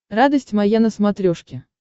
радость моя на смотрешке